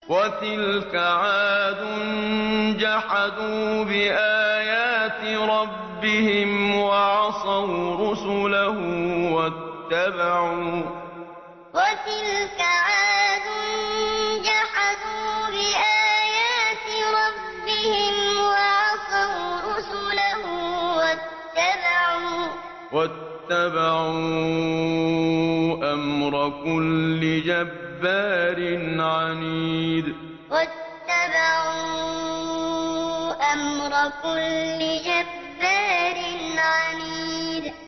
وَتِلْكَ عَادٌ ۖ جَحَدُوا بِآيَاتِ رَبِّهِمْ وَعَصَوْا رُسُلَهُ وَاتَّبَعُوا أَمْرَ كُلِّ جَبَّارٍ عَنِيدٍ وَتِلْكَ عَادٌ ۖ جَحَدُوا بِآيَاتِ رَبِّهِمْ وَعَصَوْا رُسُلَهُ وَاتَّبَعُوا أَمْرَ كُلِّ جَبَّارٍ عَنِيدٍ